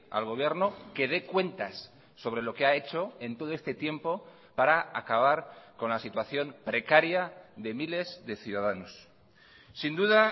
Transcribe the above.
al gobierno que dé cuentas sobre lo que ha hecho en todo este tiempo para acabar con la situación precaria de miles de ciudadanos sin duda